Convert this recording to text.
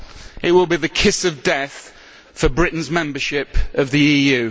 It will be the kiss of death for Britain's membership of the EU.